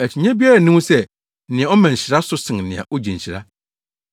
Akyinnye biara nni ho sɛ nea ɔma nhyira so sen nea ogye nhyira.